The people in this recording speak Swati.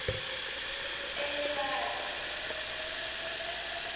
elekazi